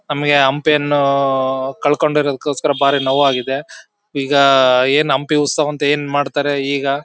ನಮಿಗೆ ಹಂಪಿ ಯನ್ನು ಊ ಕಳ್ಕೊಂಡಿರೋ ಗೋಸ್ಕರ ಬಹಳ ನೋವಾಗಿದೆ. ಈಗ ಏನ್ ಹಂಪಿ ಉತ್ಸವ ಅಂತ ಏನ್ ಮಾಡ್ತಾರೆ ಈಗ--